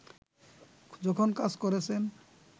যখন কাজ করেছেন